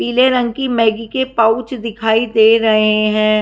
पीले रंग की मैगी के पाउच दिखाई दे रहे हैं।